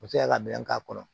U bɛ se ka dɛmɛ k'a kɔnɔ